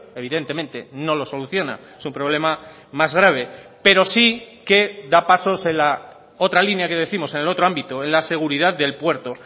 evidentemente no lo soluciona es un problema más grave pero sí que da pasos en la otra línea que décimos en el otro ámbito en la seguridad del puerto